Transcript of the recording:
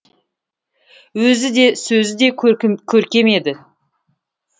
өзі де сөзі де көркем еді